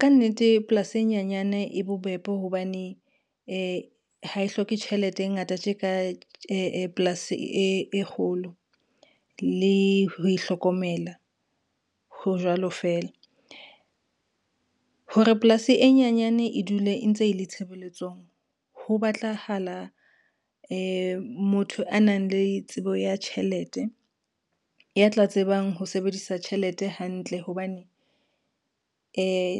Ka nnete polasi e nyanyane e bobebe hobane, ha e hloke tjhelete e ngata tje ka polasi e kgolo, le ho e hlokomela ho jwalo fela. Hore polasi e nyenyane e dule e ntse e le tshebeletsong ho batlahala, motho a nang le tsebo ya tjhelete ya tla tsebang ho sebedisa tjhelete hantle hobane,